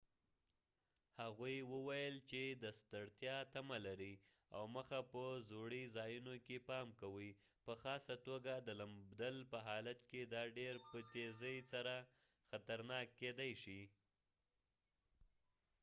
هغوي وويل چې د ستړتیا تمه لرۍ او مخ په ځوړی ځایونو کې پام کوۍ په خاصه توګه د لمبدل په حالت کې دا ډیر په تیزۍ سره خطرناک کېدای شي